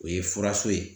O ye furaso ye